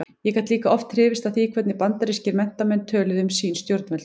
Ég gat líka oft hrifist af því hvernig bandarískir menntamenn töluðu um sín stjórnvöld.